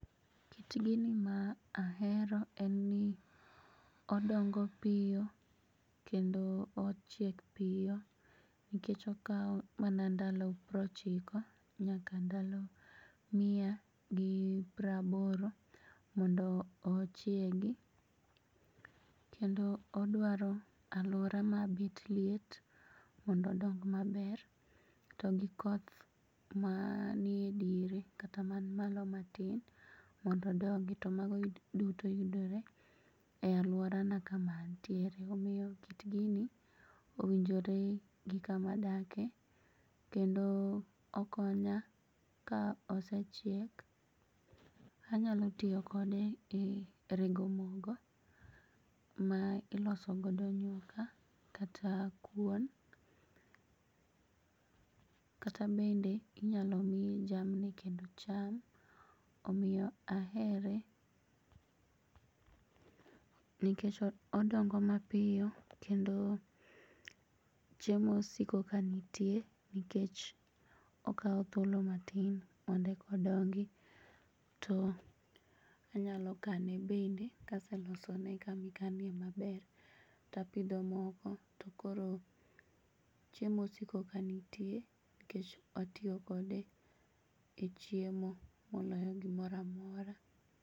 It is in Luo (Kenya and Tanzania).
Kit gini maahero en ni odongo piyo kendo ochiek piyo nikech okao mana ndalo prochiko nyaka ndalo mia gi praboro mondo ochiegi. Kendo odwaro aluora mabet liet mondodong maber to gikoth manie diere kata man malo matin mondodongi to mago duto yudore e aluorana kama antiere omiyo kit gini owinjore gi kama adake kendo okonya ka osechiek anyalo tiyo kode e rego mogo ma iloso godo nyuka kata kuon kata bende inyalo miye jamni kendo cham omiyo ahere nekech odongo mapiyo kendo chiemo osiko ka nitie nikech okao thuolo matin mondo ekodongi to anyalo kane bende kaselosone kamikane maber tapidho moko tokoro chiemo osiko ka nitie nikech atio kode e chiemo moloyo gimoramora.